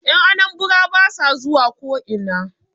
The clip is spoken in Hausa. Yan Anambara ba sa zuwa ko'ina